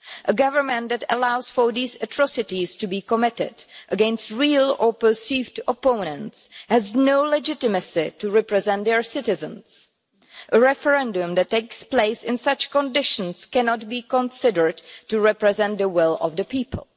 A government that allows these atrocities to be committed, against real or perceived opponents, has no legitimacy to represent the citizens. A referendum that takes place in such conditions cannot be considered to represent the will of the people.